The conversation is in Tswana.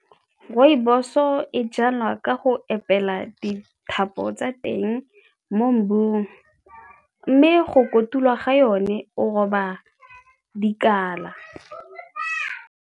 Rooibos-o e jalwa ka go epela dithapo tsa teng mo mmung mme go kotulwa ga yone o roba dikala.